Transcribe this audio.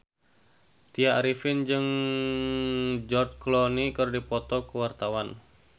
Tya Arifin jeung George Clooney keur dipoto ku wartawan